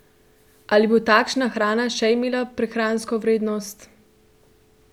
Ali bo takšna hrana še imela prehransko vrednost?